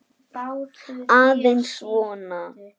Aðeins svona.